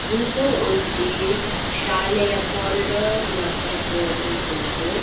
ಇಂದು ಒಂಜಿ ಶಾಲೆಯ ಕಾರಿಡಾರ್ ಲೆಕ ತೋಜೊಂದುಂಡು.